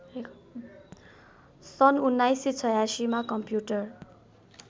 सन् १९८६मा कम्प्युटर